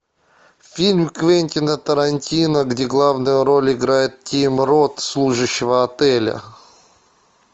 фильм квентина тарантино где главную роль играет тим рот служащего отеля